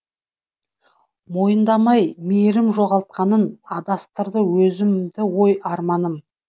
мойындамай мейірім жоғалғанын адастырды өзімді ой арманым